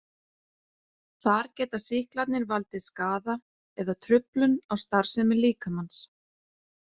Þar geta sýklarnir valdið skaða eða truflun á starfsemi líkamans.